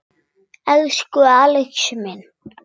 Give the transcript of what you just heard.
Elsku Axel minn.